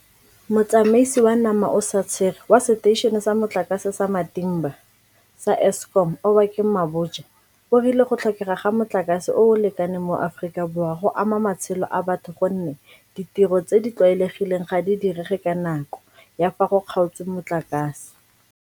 Motsamaisi wa Namaosatshere wa Seteišene sa Motlakase sa Matimba sa Eskom Obakeng Mabotja o rile go tlhokega ga motlakase o o lekaneng mo Aforika Borwa go ama matshelo a batho gonne ditiro tse di tlwaelegileng ga di direge ka nako ya fa go kgaotswe motlakase.